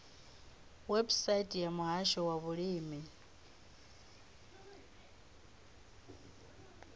website ya muhasho wa vhulimi